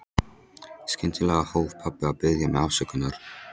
Skyndilega hóf pabbi að biðja mig afsökunar.